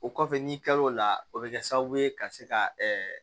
O kɔfɛ n'i kilal'o la o bɛ kɛ sababu ye ka se ka